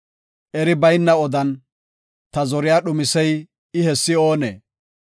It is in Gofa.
Eri bayna odan ta zoriya dhumisey I hessi oonee?